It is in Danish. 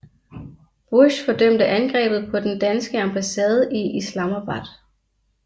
Bush fordømte angrebet på den danske ambassade i Islamabad